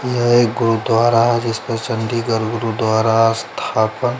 ये एक गुरु दुआरा है जिसपे चंडीगड गुरु दुआरा स्थापन--